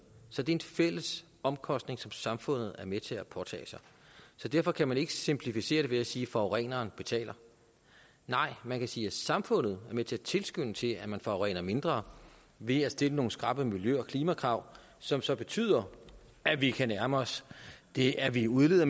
så det er en fælles omkostning som samfundet er med til at påtage sig så derfor kan man ikke simplificere det ved at sige at forureneren betaler nej man kan sige at samfundet er med til at tilskynde til at man forurener mindre ved at stille nogle skrappe miljø og klimakrav som så betyder at vi kan nærme os det at vi udleder